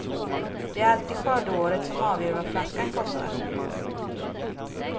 Det är alltid skördeåret som avgör vad flaskan kostar.